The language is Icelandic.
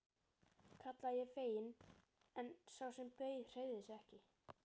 kallaði ég fegin en sá sem beið hreyfði sig ekki.